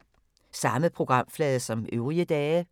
Samme programflade som øvrige dage